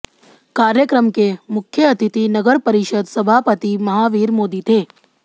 कार्यक्रम के मुख्य अतिथि नगर परिषद सभापति महावीर मोदी थे